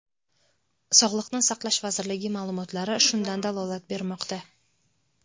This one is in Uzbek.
Sog‘liqni saqlash vazirligi ma’lumotlari shundan dalolat bermoqda.